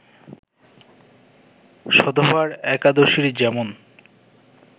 সধবার একাদশীর যেমন